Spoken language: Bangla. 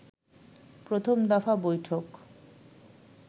প্রথম দফা বৈঠক